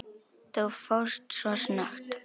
Þú fórst svo snöggt.